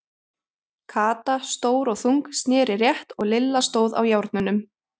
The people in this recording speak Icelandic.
Kata, stór og þung, sneri rétt og Lilla stóð á járnunum.